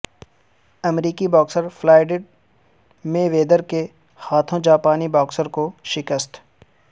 امریکی boxer Floyd Mayweather کے ہاتھوں جاپانی باکسرکو شکست